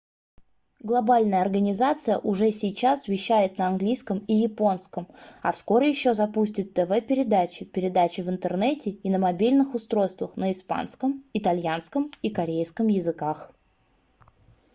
глобальная организация уже сейчас вещает на английском и японском а вскоре еще запустит тв-передачи передачи в интернете и на мобильных устройствах на испанском итальянском и корейском языках